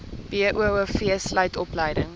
boov sluit opleiding